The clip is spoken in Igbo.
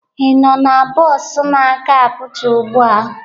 Ị nọ na bọs na-aga Abuja ugbu a?